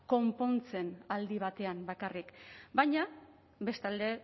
konpontzen aldi batean bakarrik baina bestalde